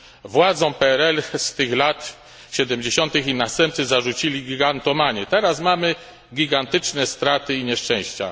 Władzom PRL z tych lat 70tych ich następcy zarzucili gigantomanię, teraz mamy gigantyczne straty i nieszczęścia.